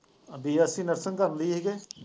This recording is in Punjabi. BSC nursing ਕਰਦੀ ਸੀਗੀ॥